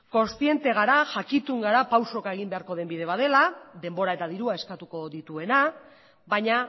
kontziente gara jakitun gara pausoka egin beharko den bide bat dela denbora eta dirua eskatuko dituena baina